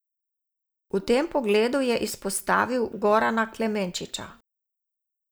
V tem pogledu je izpostavil Gorana Klemenčiča.